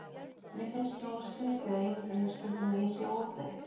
Mér finnst nógu skrýtið að ímynda mér stundum ég sé á útleið.